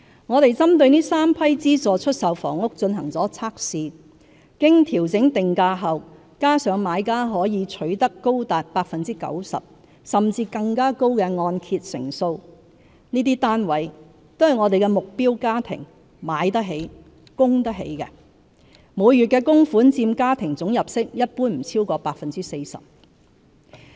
我們針對這3批資助出售房屋進行了測試，經調整定價後，加上買家可取得高達 90% 甚或更高的按揭成數，這些單位都是目標家庭"買得起"、"供得起"的，每月的供款佔家庭總入息一般不會超過 40%。